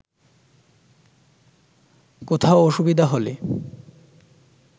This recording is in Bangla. কোথাও অসুবিধা হলে